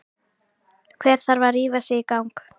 Hver þarf að rífa sig í gang?